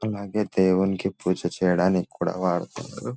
అలాగే దేవునికి పూజ చేయడానికి కూడా వాడతారు.